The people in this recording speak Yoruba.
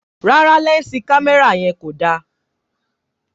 Rárá lẹnsi kámẹ́rà yan ko da